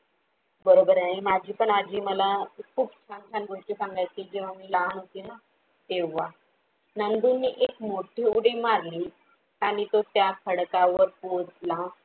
बरोबर आहे माझी पण आजी मला खूप छान छान गोष्टी सांगायची जेव्हा मी लहान होते न तेव्हा, नंदू ने एक मोठी उडी मारली आणि तो त्या खडकावर पोहचला.